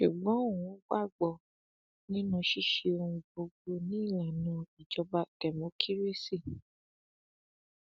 ṣùgbọn òun gbàgbọ nínú ṣíṣe ohun gbogbo ni ìlànà ìjọba dẹmọkírésì